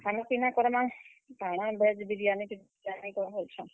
ଖାନା, ପିନା କର୍ ମା କାଣା veg biryani ଟେ try କର ବୋଲୁଛେଁ।